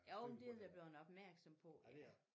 Jo men det de da bleven opmærksomme på